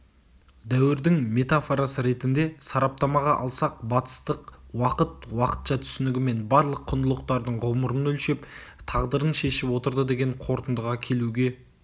дәуірдің метафорасы ретінде сараптамаға алсақ батыстық уақыт уақытша түсінігімен барлық құндылықтардың ғұмырын өлшеп тағдырын шешіп отырды деген қорытындыға келуге